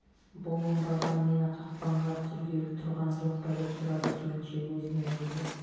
бұл оңбаған мені қақпанға түсіргелі тұрған жоқ па деп сұрады келіншек өзінен өзі